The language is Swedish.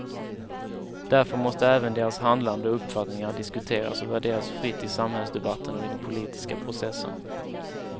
Därför måste även deras handlande och uppfattningar diskuteras och värderas fritt i samhällsdebatten och i den politiska processen.